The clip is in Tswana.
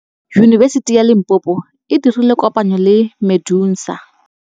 Yunibesiti ya Limpopo e dirile kopanyô le MEDUNSA.